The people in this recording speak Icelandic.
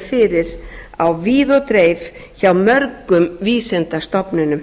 fyrir á víð og dreif hjá mörgum vísindastofnunum